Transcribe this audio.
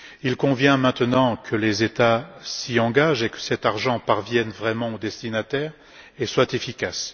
Il convient maintenant que les États s'y engagent et que cet argent parvienne vraiment aux destinataires et soit efficace.